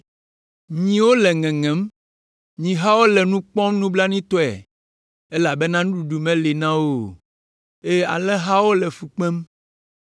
Nyiwo le ŋeŋem, nyihawo le nu kpɔm nublanuitɔe, elabena nuɖuɖu meli na wo o, eye alẽhawo le fu kpem.